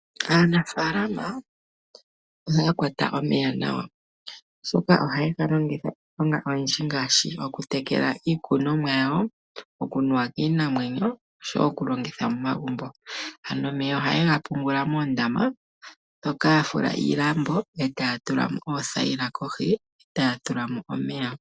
Aanafalama ohaya kwata omeya nawa oshoka ohaye galongitha okutekela iimeno, okunuwa kiinamwenyo oshowo okulongitha momagumbo. Ano ohaye ga pungula moondama mono yafula iilambo taya tula oothayila kohi nokutulamo omeya.